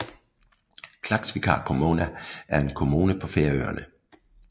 Klaksvíkar kommuna er en kommune på Færøerne